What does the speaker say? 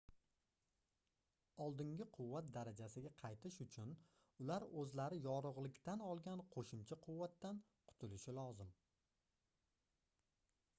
oldingi quvvat darajasiga qaytish uchun ular oʻzlari yorugʻlikdan olgan qoʻshimcha quvvatdan qutulishi lozim